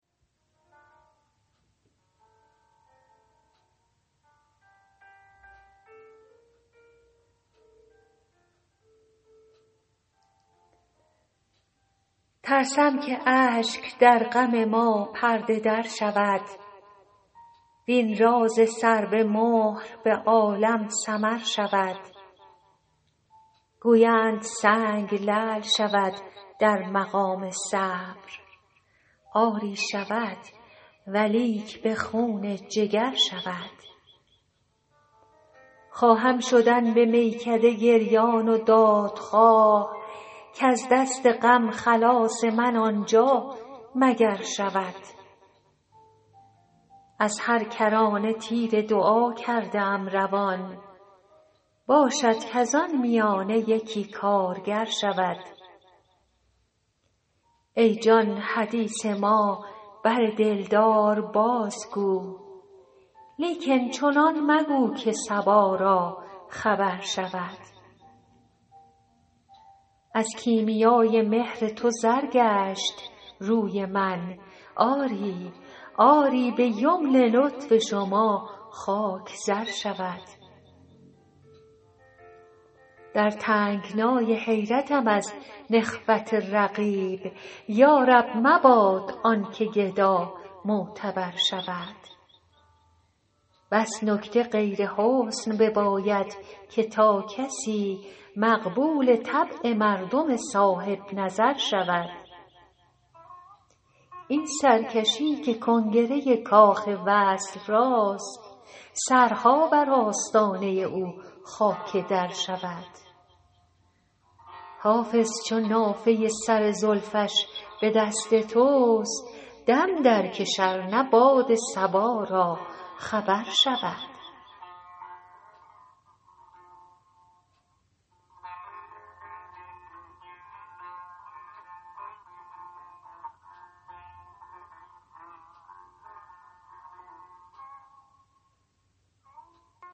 ترسم که اشک در غم ما پرده در شود وین راز سر به مهر به عالم سمر شود گویند سنگ لعل شود در مقام صبر آری شود ولیک به خون جگر شود خواهم شدن به میکده گریان و دادخواه کز دست غم خلاص من آنجا مگر شود از هر کرانه تیر دعا کرده ام روان باشد کز آن میانه یکی کارگر شود ای جان حدیث ما بر دلدار بازگو لیکن چنان مگو که صبا را خبر شود از کیمیای مهر تو زر گشت روی من آری به یمن لطف شما خاک زر شود در تنگنای حیرتم از نخوت رقیب یا رب مباد آن که گدا معتبر شود بس نکته غیر حسن بباید که تا کسی مقبول طبع مردم صاحب نظر شود این سرکشی که کنگره کاخ وصل راست سرها بر آستانه او خاک در شود حافظ چو نافه سر زلفش به دست توست دم درکش ار نه باد صبا را خبر شود